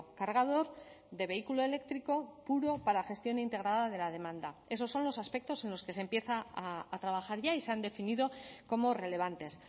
cargador de vehículo eléctrico puro para gestión integrada de la demanda esos son los aspectos en los que se empieza a trabajar ya y se han definido como relevantes